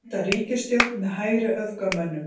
Mynda ríkisstjórn með hægri öfgamönnum